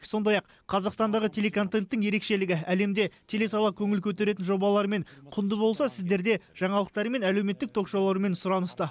сондай ақ қазақстандағы телеконтенттің ерекшелігі әлемде телесала көңіл көтеретін жобаларымен құнды болса сіздерде жаңалықтарымен әлеуметтік ток шоуларымен сұраныста